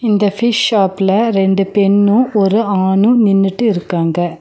இந்த ஃபிஷ் ஷாப்ல ரெண்டு பெண்ணூ ஒரு ஆணூ நின்னுட்டு இருக்காங்க.